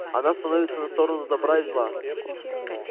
она становится на сторону добра или зла